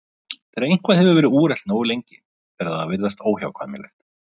Þegar eitthvað hefur verið úrelt nógu lengi fer það að virðast óhjákvæmilegt.